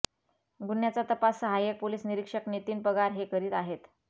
गुन्ह्याचा तपास सहाय्यक पोलीस निरिक्षक नितीन पगार हे करीत आहेत